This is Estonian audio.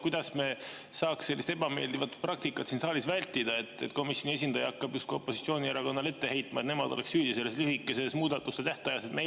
Kuidas me saaks sellist ebameeldivat praktikat siin saalis vältida, et komisjoni esindaja hakkab justkui opositsioonierakonnale ette heitma, et nemad on nagu süüdi lühikeses muudatusettepanekute tähtajas?